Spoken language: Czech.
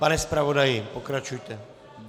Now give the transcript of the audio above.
Pane zpravodaji, pokračujte.